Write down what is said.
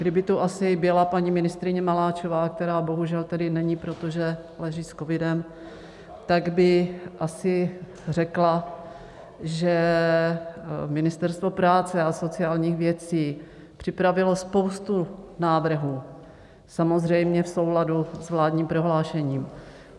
Kdyby tu asi byla paní ministryně Maláčová, která bohužel tedy není, protože leží s covidem, tak by asi řekla, že Ministerstvo práce a sociálních věcí připravilo spoustu návrhů samozřejmě v souladu s vládním prohlášením.